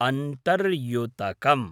अन्तर्युतकम्